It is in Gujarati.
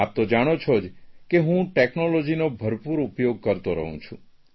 આપ તો જાણો છો જ કે હું ટેકનોલોજીનો ભરપૂર ઉપયોગ કરતો રહું છું